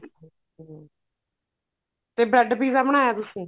ਤੇ bread pizza ਬਣਾਇਆ ਤੁਸੀਂ